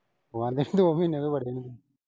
ਬਹਾਨੇ ਦੋ ਮਹੀਨੇ ਤਾਂ ਬੜੀ ਨਈਂ।